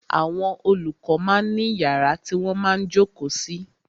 Àwọn olùkọ máa ń ní yàrá tí wọ́n máa ń jókòó sí.